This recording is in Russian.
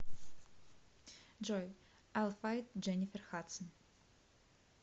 джой айл файт дженифер хадсон